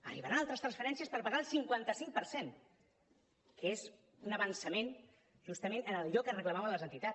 arribaran altres transferències per pagar el cinquanta cinc per cent que és un avançament justament en allò que reclamaven les entitats